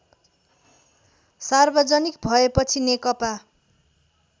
सार्वजनिक भएपछि नेकपा